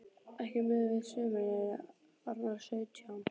Ekki miðað við sumar sem eru orðnar sautján.